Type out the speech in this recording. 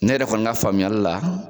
Ne yɛrɛ kɔni ka faamuyali la